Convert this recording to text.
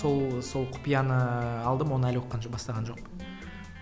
сол сол құпияны ыыы алдым оны әлі оқыған жоқ бастаған жоқпын